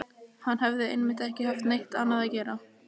Hann hafði einmitt ekki haft neitt annað að gera.